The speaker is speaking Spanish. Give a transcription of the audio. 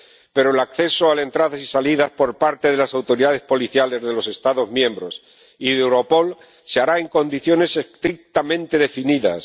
Pero el acceso a la información sobre las entradas y salidas por parte de las autoridades policiales de los Estados miembros y de Europol se hará en condiciones estrictamente definidas.